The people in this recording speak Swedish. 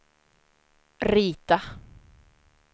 rita